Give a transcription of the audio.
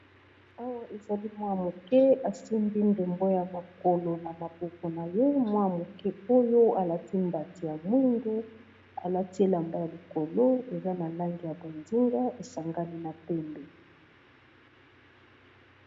Awa ezali mwana moke asimbi ndembo ya mokolo na maboko na ye mwana moke oyo alati mbati ya mwindu alati elamba ya likolo eza na langi ya bozinga esangami na pembe.